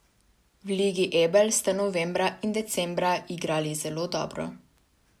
V Ligi Ebel ste novembra in decembra igrali zelo dobro.